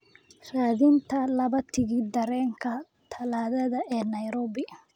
Raadinta laba tigidh tareenka talaadada ee Nairobi